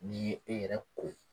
N'i ye e yɛrɛ ko